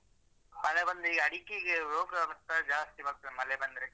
ಹೌದು ಮಳೆ ಬಂದ್ರೆ ಈ ಅಡಿಕೆಗೆ ರೋಗ ಮತ್ತೆ ಜಾಸ್ತಿ ಬರ್ತದೆ ಮಳೆ ಬಂದ್ರೆ.